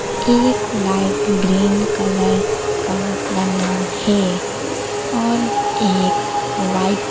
एक light green colour का बना है और एक वाइट --